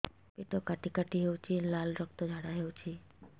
ପେଟ କାଟି କାଟି ହେଉଛି ଲାଳ ରକ୍ତ ଝାଡା ହେଉଛି